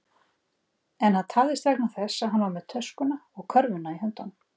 En hann tafðist vegna þess að hann var með töskuna og körfuna í höndunum.